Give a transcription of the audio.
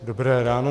Dobré ráno.